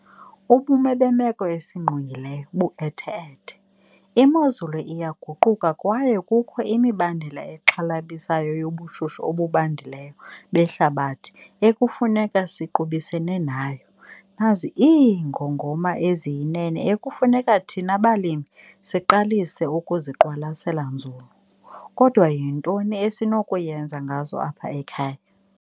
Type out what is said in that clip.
Ubume bemeko esingqongileyo bu-ethe-ethe, imozulu iyaguquka kwaye kukho imibandela exhalabisayo yobushushu obubandileyo behlabathi ekufuneka siqubisene nayo. Nazi iingongoma eziyinene ekufuneka thina balimi siqalise ukuziqwalasela nzulu. Kodwa yintoni esinokuyenza ngazo apha ekhaya?